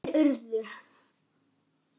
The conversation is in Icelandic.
Þær urðu